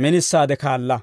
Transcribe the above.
minisaade kaala.